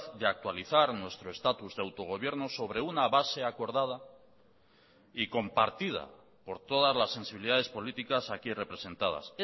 de actualizar nuestro estatus de autogobierno sobre una base acordada y compartida por todas las sensibilidades políticas aquí representadas